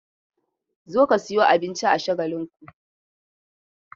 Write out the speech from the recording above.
Zo ka sayo abinci a Shagalinku!